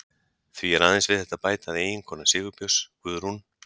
Því er aðeins við þetta að bæta að eiginkona Sigurbjörns, Guðrún